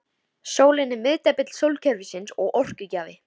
Sólin er miðdepill sólkerfisins og orkugjafi.